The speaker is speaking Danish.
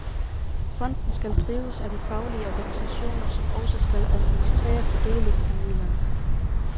Fonden skal drives af de faglige organisationer, som også skal administrere fordelingen af midlerne.